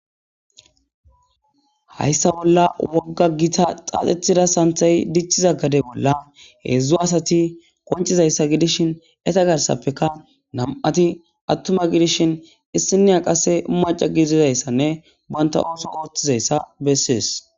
Haysa bolla woga Gita santhay xaxetiza gade bolla hedzu asati qoncizaysa gidishin eta nama'ati atuma gidishin issinoya qase maca gidishin wuri banta oso oithizaysa beses